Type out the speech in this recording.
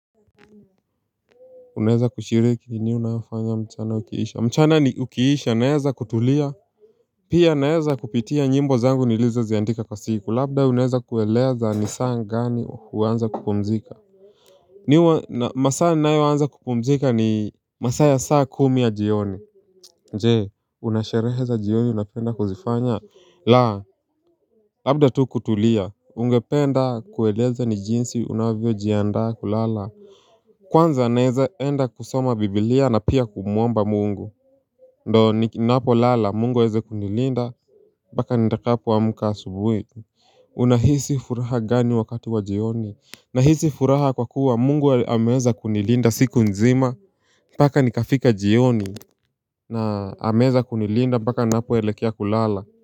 Unaeza kushiriki nini unafanya mchana ukiisha. Mchana ukiisha naeza kutulia. Pia naeza kupitia nyimbo zangu nilizoziandika kwa siku labda unaeza kueleza ni saa gani huanza kupumzika mimi huwa masaa nayoanza kupumzika ni masaa ya saa kumi ya jioni je una sherehe za jioni unapenda kuzifanya. La labda tu kutulia ungependa kueleza ni jinsi unavyojiandaa kulala. Kwanza naeza enda kusoma biblia na pia kumwomba mungu. Ndo ninapo lala mungu aweze kunilinda mpaka nitapoamka asubuhi. Unahisi furaha gani wakati wa jioni. Nahisi furaha kwa kuwa mungu ameeza kunilinda siku nzima mpaka nikafika jioni na ameeza kunilinda mpaka ninapoelekea kulala.